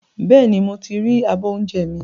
Bẹ́ẹ̀ni, mo ti ri abọ́ oúnjẹ mi